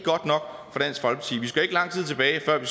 lang tid tilbage før det